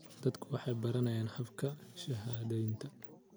Dadku waxay baranayaan habka shahaadaynta.